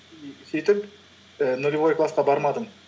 и сөйтіп і нолевой классқа бармадым